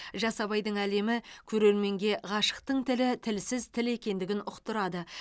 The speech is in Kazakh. жас абайдың әлемі көрерменге ғашықтың тілі тілсіз тіл екендігін ұқтырады